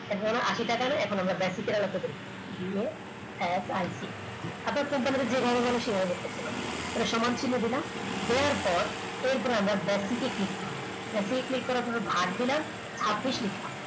এখন আর আশি টাকা না, এখন আমরা basic হিসাবে করব দিয়ে fit আপনার company তে যে কোন মানুষই বার করতে পারবে একটা সমান চিহ্ন দিলাম দেওয়ার পর এরপর আমরা basic এ click করব basic click করার পরে ভাগ দিলাম ছাব্বিশ লিখলাম